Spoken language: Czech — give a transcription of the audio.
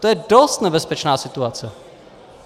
To je dost nebezpečná situace.